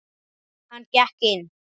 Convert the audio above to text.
Hann gekk inn.